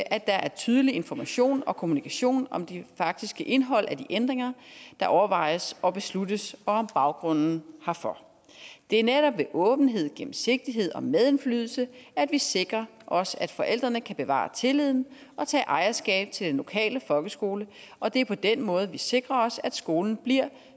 er tydelig information og kommunikation om det faktiske indhold af de ændringer der overvejes og besluttes og om baggrunden herfor det er netop ved åbenhed gennemsigtighed og medindflydelse at vi sikrer os at forældrene kan bevare tilliden og tage ejerskab til den lokale folkeskole og det er på den måde vi sikrer os at skolen bliver